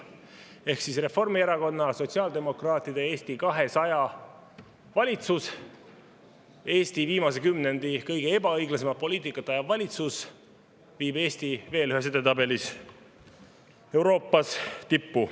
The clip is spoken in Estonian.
Ehk siis Reformierakonna, sotsiaaldemokraatide ja Eesti 200 valitsus, Eesti viimase kümnendi kõige ebaõiglasemat poliitikat ajav valitsus, viib Eesti veel ühes edetabelis Euroopas tippu.